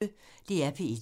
DR P1